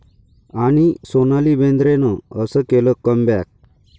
...आणि सोनाली बेंद्रेनं असं केलं 'कम बॅक'